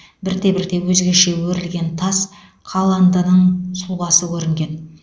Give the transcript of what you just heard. бірте бірте өзгеше өрілген тас қаландының сұлбасы көрінген